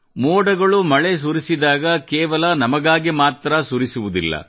ಮೋಡಗಳು ಮಳೆಸುರಿಸಿದಾಗ ಕೇವಲ ನಮಗಾಗಿ ಮಾತ್ರ ಸುರಿಸುವುದಿಲ್ಲ